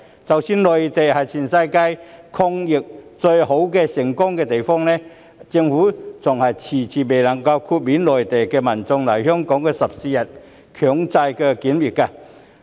即使內地是全世界抗疫最好、最成功的地方，但政府依然遲遲未能夠豁免來港內地民眾的14天強制檢疫。